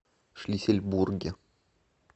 шлиссельбурге